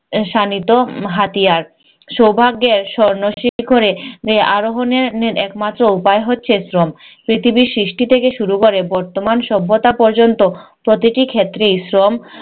এর শাণিত আহ হাতিয়ার। সৌভাগ্যের স্বর্ণ শিখরে আরোহনের একমাত্র উপায় হচ্ছে শ্রম। পৃথিবীর সৃষ্টি থেকে শুরু করে বর্তমান সভ্যতা পর্যন্ত প্রতিটি ক্ষেত্রেই শ্রম